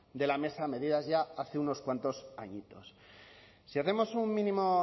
de la mesa medidas ya hace unos cuantos añitos si hacemos un mínimo